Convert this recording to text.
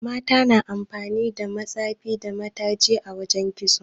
Mata na amfani da matsefi da mataji a wajan yin kitso